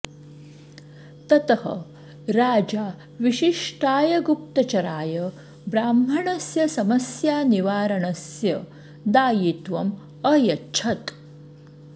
ततः राजा विशिष्टाय गुप्तचराय ब्राह्मणस्य समस्यानिवारणस्य दायित्वम् अयच्छत्